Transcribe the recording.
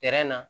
na